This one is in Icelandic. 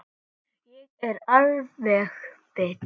Ég er alveg bit!